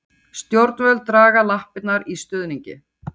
Stjórnvöld draga lappirnar í stuðningi